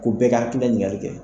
Ko bɛɛ ka hakilina ɲiningali kɛ